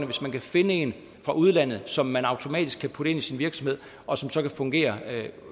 hvis man kan finde en fra udlandet som man automatisk kan putte ind i sin virksomhed og som så kan fungere